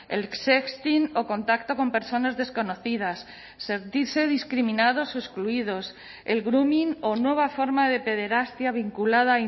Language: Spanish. el sexting o contacto con personas desconocidas sentirse discriminados o excluidos el grooming o nueva forma de pederastia vinculada a